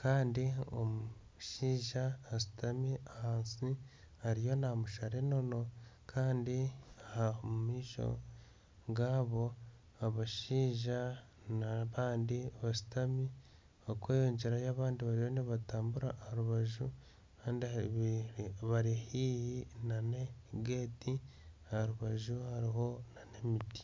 kandi omushaija ashutami ahansi ariyo namushara enono kandi omu maisho gaabo abashaija n'abandi bashutami okweyongyerayo abandi bariyo nibatambura aha rubaju bari haihi na geeti aha rubaju hariho emiti.